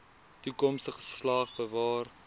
toekomstige geslag bewaar